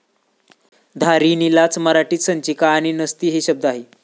धारिणीलाच मराठीत संचिका आणि नसती हे शब्द आहेत.